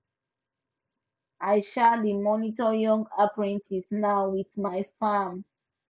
i um dey mentor young apprentices now with my farm